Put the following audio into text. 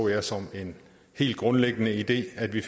jeg som en hel grundlæggende idé at vi